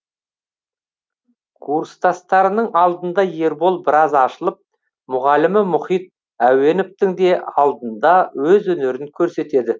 курстастарының алдында ербол біраз ашылып мұғалімі мұхит әуеновтің де алдында өз өнерін көрсетеді